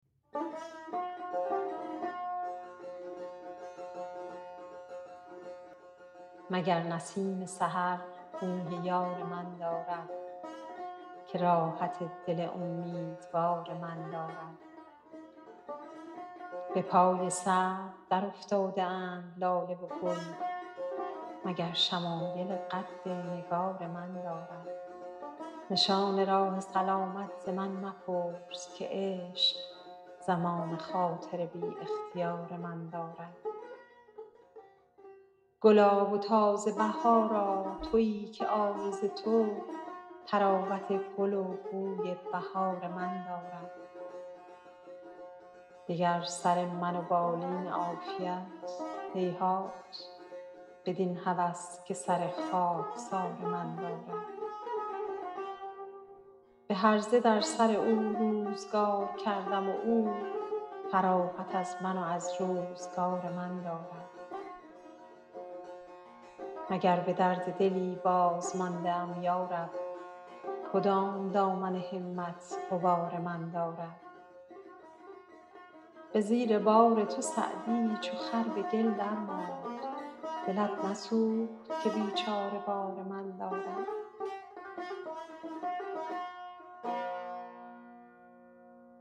مگر نسیم سحر بوی یار من دارد که راحت دل امیدوار من دارد به پای سرو درافتاده اند لاله و گل مگر شمایل قد نگار من دارد نشان راه سلامت ز من مپرس که عشق زمام خاطر بی اختیار من دارد گلا و تازه بهارا تویی که عارض تو طراوت گل و بوی بهار من دارد دگر سر من و بالین عافیت هیهات بدین هوس که سر خاکسار من دارد به هرزه در سر او روزگار کردم و او فراغت از من و از روزگار من دارد مگر به درد دلی بازمانده ام یا رب کدام دامن همت غبار من دارد به زیر بار تو سعدی چو خر به گل درماند دلت نسوخت که بیچاره بار من دارد